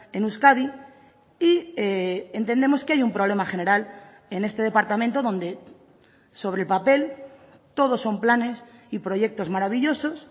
en euskadi y entendemos que hay un problema general en este departamento donde sobre el papel todos son planes y proyectos maravillosos